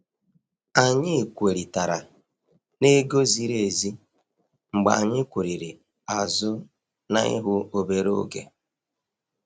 Anyị kwerị tara n'ego ziri ezi mgbe anyị kwurịrị azụ na ihu obere oge.